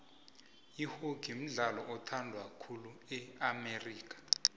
ihockey mdlalo othandwa khulu e amerika